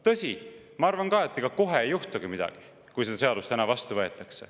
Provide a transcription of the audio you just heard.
Tõsi, ma arvan ka, et kui see seadus täna vastu võetakse, siis ega kohe ei juhtugi midagi.